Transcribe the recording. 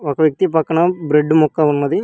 ఒక వ్యక్తి పక్కన బ్రెడ్ ముక్క ఉన్నది.